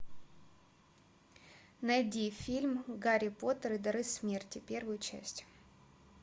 найди фильм гарри поттер и дары смерти первую часть